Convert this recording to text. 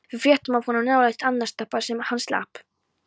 Við fréttum af honum nálægt Arnarstapa en hann slapp.